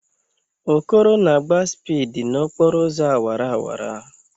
Okoro na-agba spịdi n'okporo ụzọ awara awara